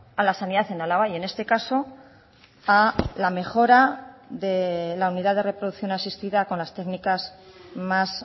a la sanidad en álava y en este caso a la mejora de la unidad de reproducción asistida con las técnicas más